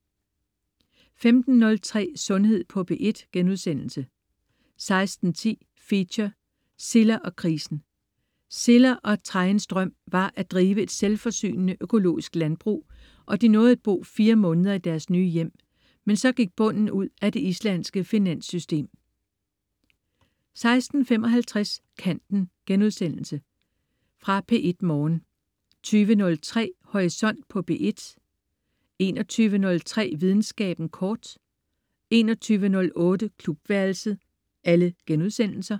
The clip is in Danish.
15.03 Sundhed på P1* 16.10 Feature: Silla og krisen. Silla og Thrainns drøm var at drive et selvforsynende økologisk landbrug og de nåede at bo 4 måneder i deres nye hjem. Men så gik bunden ud af det islandske finansystem 16.55 Kanten.* Genudsendelse fra P1 morgen 20.03 Horisont på P1* 21.03 Videnskaben kort* 21.08 Klubværelset*